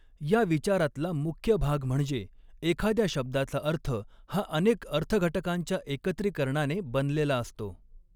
ह्या विचारातला मुख्य भाग म्हणजे एखाद्या शब्दाचा अर्थ हा अनेक अर्थघटकांच्या एकत्रीकरणाने बनलेला असतो.